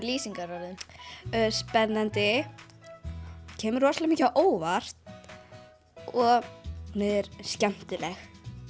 lýsingarorðum spennandi kemur á óvart og hún er skemmtileg